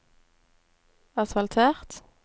asfaltert